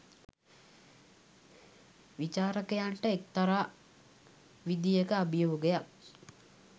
විචාරකයන්ට එක්තරා විධියක අභියෝගයක්